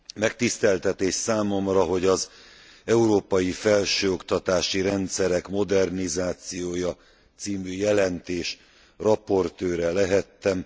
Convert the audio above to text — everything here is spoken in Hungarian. Megtiszteltetés számomra, hogy az európai felsőoktatási rendszerek modernizációja című jelentés raportőre lehettem.